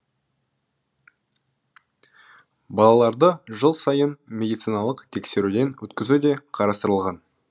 балаларды жыл сайын медициналық тексеруден өткізу де қарастырылған